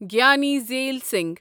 Giani Zail Singh